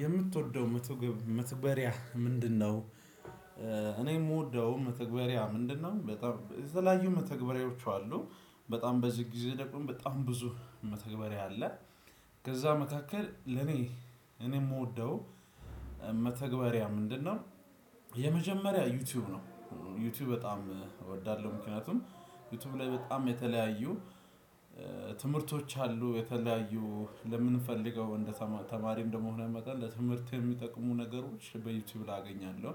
የምትወደው መትግብ መተግበሪያ ምንድነው? እኔ የምወደውም መተግበሪያ ምንድነው በጣም የተለያዩ መተግበሪያዎች አሉ። በጣም በዚህ ጊዜ ደግሞ በጣም ብዙ መተግበሪያ አለ። ከዛ መካከል ለኔ እኔ የምወደው መተግበሪያ ምንድነው የ የመጀመሪያ ዩቲዩብ ነው። ዩቲዩብ በጣም እወዳለሁ ምክንያቱም ዩቲዩብ ላይ በጣም የተለያዩ ትምህርቶች አሉ። የተለያዩ ለምንፈልገው እንደ ተማሪ ተማሪም እንደመሆንህ መጠን ለትምህርት የሚጠቅሙ ነገሮች በዩቲዩብ ላይ አገኛለሁ።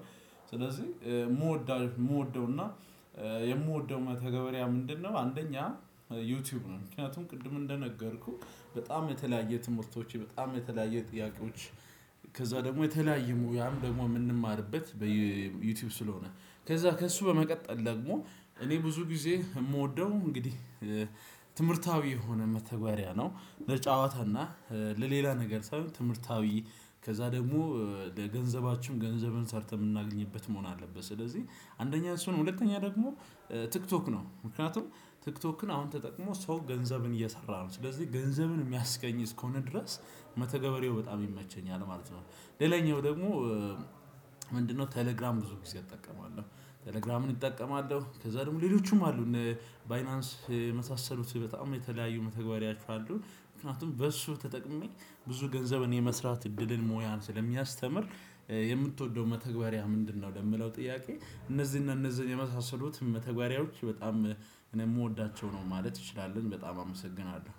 ስለዚህ የምወደው የምወደው እና የምወደው መተገበሪያ ምንድነው? አንደኛ ዩቲዩብ ነው። ምክንያቱም ቅድም እንደነገርኩህ በጣም የተለያየ ትምህርቶች በጣም የተለያየ ጥያቄዎች ከዛ ደግሞ የተለያየ ሙያም ደግሞ የምንማርበት በየ በዩቲዩብ ስለሆነ። ከዛ ከእሱ በመቀጠል ደግሞ እኔ ብዙ ጊዜ የምወደው እንግዲህ ትምህርታዊ የሆነ መተግበሪያ ነው። ለጨዋታና ለሌላ ነገር ሳይሆን ትምህርታዊ ከዛ ደግሞ ለገንዘባችሁም ገንዘብን ሰርተን የምናገኝበት መሆን አለበት። ስለዚህ አንደኛ እሱ ነው። ሁለተኛ ደግሞ ቲክቶክ ነው። ምክንያቱም ቲክቶክን አሁን ተጠቅሞ ሰው ገንዘብን እየሰራ ነው ስለዚህ ገንዘብን የሚያስገኝ እስከሆነ ድረስ መተገበሪያው በጣም ይመቸኛል ማለት ነው። ሌላኛው ደግሞ ምንድነው? ቴሌግራም ብዙ ጊዜ እጠቀማለሁ። ቴሌግራምን እጠቀማለሁ ከዛ ደግሞ ሌሎቹም አሉ። ባይናንስ የመሳሰሉት በጣም የተለያዩ መተግበሪያዎች አሉ። ምክንያቱም በእሱ ተጠቅሜ ብዙ ገንዘብን የመስራት እድልን ሙያን ስለሚያስተምር። የምትወደው መተግበሪያ ምንድነው? ለምለው ጥያቄ። እነዚህን እነዚህን የመሳሰሉትን መተግበሪያዎች በጣም እኔ የምወዳቸው ነው ማለት እንችላለን በጣም አመሰግናለሁ።